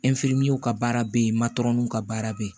ka baara be yen ka baara be yen